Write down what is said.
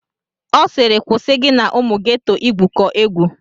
Ọ sịịrị kwụsị gị na ụmụ geto igwukọ egwu!